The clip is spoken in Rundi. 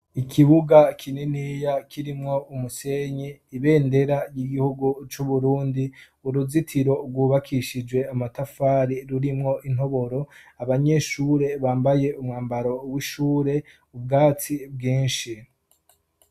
ikibuga kininiya kirimwo umusenye ibendera ry'igihugu c'uburundi uruzitiro rwubakishijwe amatafari rurimwo intoboro abanyeshure bambaye umwambaro w'ishure ubwatsi bwinshi